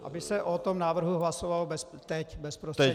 Aby se o tom návrhu hlasovalo teď bezprostředně.